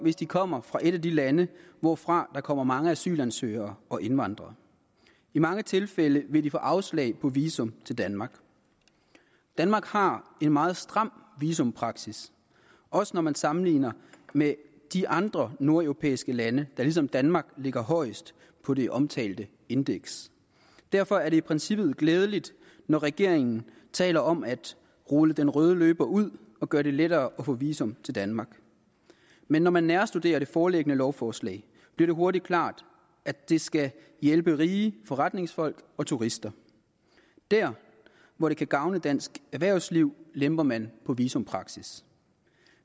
hvis de kommer fra et af de lande hvorfra der kommer mange asylansøgere og indvandrere i mange tilfælde vil de få afslag på visum til danmark danmark har en meget stram visumpraksis også når man sammenligner med de andre nordeuropæiske lande der ligesom danmark ligger højest på det omtalte indeks derfor er det i princippet glædeligt når regeringen taler om at rulle den røde løber ud og gøre det lettere at få visum til danmark men når man nærstuderer det foreliggende lovforslag bliver det hurtigt klart at det skal hjælpe rige forretningsfolk og turister dér hvor det kan gavne dansk erhvervsliv lemper man på visumpraksis